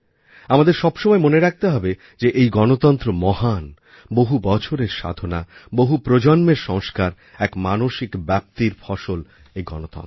আমাদের সবসময় মনে রাখতে হবে যে এই গণতন্ত্র মহান বহু বছরের সাধনা বহু প্রজন্মের সংস্কার এক মানসিক ব্যপ্তির ফসল এই গণতন্ত্র